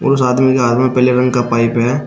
उस आदमी के हाथ में पैलेवन का पाइप है।